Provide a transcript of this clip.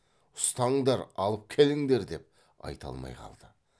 ұстаңдар алып келіңдер деп айта алмай қалды